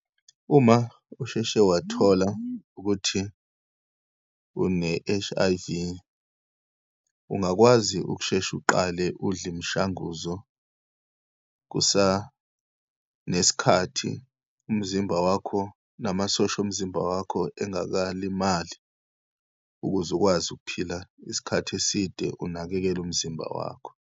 Uma usheshe wathola ukuthi une-H_I_V, ungakwazi ukushesha uqale udle imishanguzo kusanesikhathi, umzimba wakho namasosha omzimba wakho engakalimali, ukuze ukwazi ukuphila isikhathi eside, unakekele umzimba wakho.